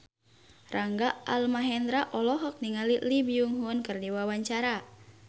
Rangga Almahendra olohok ningali Lee Byung Hun keur diwawancara